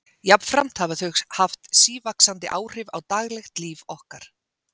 Jafnframt hafa þau haft sívaxandi áhrif á daglegt líf okkar.